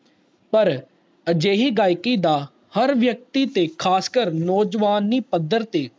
ਹਰ ਅਜੇਹੀ ਗਾਇਕੀ ਦਾ ਹਰ ਵਿਅਕਤੀ ਤੇ ਖਾਸਕਰ ਨੋ ਜਵਾਨੀ ਪੱਧਰ ਤੇ